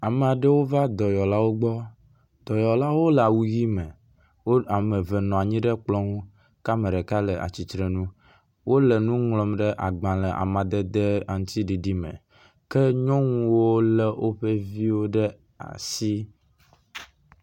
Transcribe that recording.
Ame aɖewo va dɔyɔlawo gbɔ. Dɔyɔlawo le awu ʋi me. Wo ame eve nɔ anyi ɖe kplɔ nu kea ame ɖeka le atsitrenu. Wo le nu ŋlɔm ɖe agbale madede aŋtsiɖiɖi me ke nyɔnuwo le woƒe vio ɖe asi.